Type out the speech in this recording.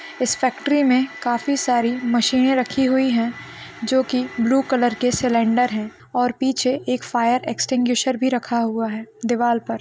इस फैक्ट्री में काफी सारी मशीने रखी हुई है जो की ब्लू कलर की सिलेंडर है और पीछे एक फायर एक्स्टिंग्विशेर भी रखा हुआ है दीवार पे।